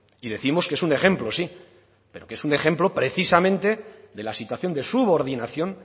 y décimos que es un ejemplo sí pero que es un ejemplo precisamente de la situación de subordinación